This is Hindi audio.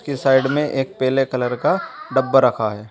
की साइड में एक पेले कलर का डब्बा रखा है।